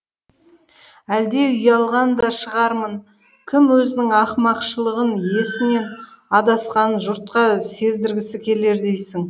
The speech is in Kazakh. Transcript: әлде ұялған да шығармын кім өзінің ақымақшылығын есінен адасқанын жұртқа сездіргісі келер дейсің